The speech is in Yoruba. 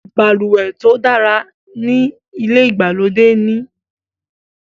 balùwẹ̀ tó dára ní ilè ìgbàlódé ní.